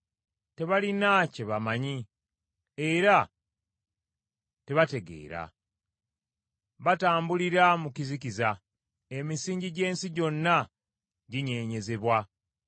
Tebalina kye bamanyi, era tebategeera. Batambulira mu kizikiza; emisingi gy’ensi gyonna ginyeenyezebwa.